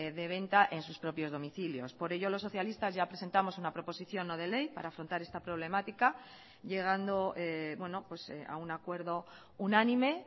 de venta en sus propios domicilios por ello los socialistas ya presentamos una proposición no de ley para afrontar esta problemática llegando a un acuerdo unánime